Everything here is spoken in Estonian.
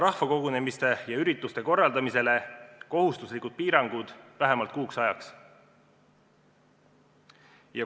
Rahvakogunemistele ja ürituste korraldamisele tuleb seada kohustuslikud piirangud vähemalt kuuks ajaks.